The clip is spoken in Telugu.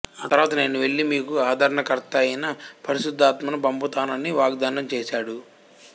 ఆ తర్వాత నేను వెళ్లి మీకు ఆదరణకర్తయైన పరిశుద్ధాత్మను పంపుతాను అని వాగ్దానం చేశాడు